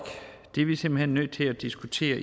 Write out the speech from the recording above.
det er vi simpelt hen nødt til at diskutere